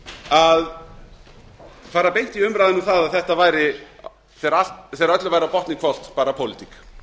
að fara beint í umræðuna um að þetta væri þegar öllu væri á botninn hvolft bara pólitík